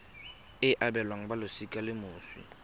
e abelwang balosika la moswi